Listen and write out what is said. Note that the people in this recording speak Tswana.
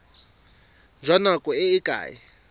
jwa nako e e ka